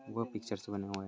वह पिक्चर्स बने हुए है।